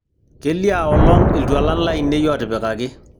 keliaa olong' iltualan lainei ootipikaki